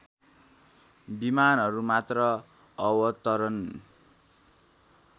विमानहरू मात्र अवतरण